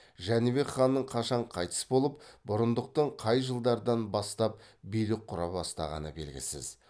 жәнібек ханның қашан қайтыс болып бұрындықтың қай жылдардан бастап билік құра бастағаны белгісіз